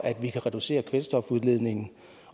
kan reducere kvælstofudledningen